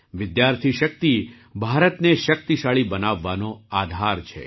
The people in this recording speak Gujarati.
વિદ્યાર્થી શક્તિ ભારતને શક્તિશાળી બનાવવાનો આધાર છે